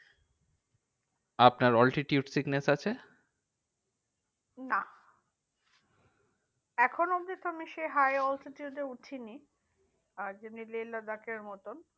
আপনার altitude sickness আছে? না এখনো অব্ধি আমিতো সেই high altitude এ উঠিনি। আর যেমনি লেহ লাদাখের মতন।